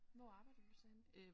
Hvor arbejder du så henne?